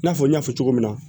I n'a fɔ n y'a fɔ cogo min na